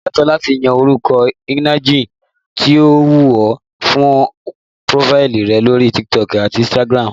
O lẹ́tọ̀ọ́ láti yan orúkọ ìnagijẹ tí ó wù ọ fún prófáìlì rẹ lórí TikTok àti Instagram